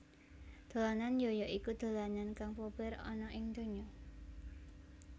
Dolanan yo yo iku dolanan kang populèr ana ing donya